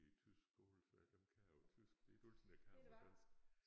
I tysk skole så dem kan jeg på tysk det er ikke altid jeg kan dem på dansk